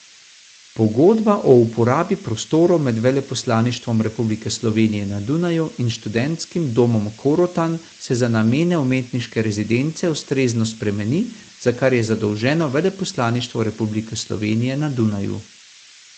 Pogodba o uporabi prostorov med Veleposlaništvom Republike Slovenije na Dunaju in Študentskim domom Korotan se za namene umetniške rezidence ustrezno spremeni, za kar je zadolženo Veleposlaništvo Republike Slovenije na Dunaju.